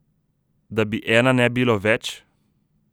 Da bi Ena ne bilo več?